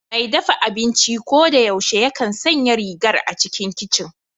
Mai dafa abinci ko da yaushe yakan sanya rigar a cikin kicin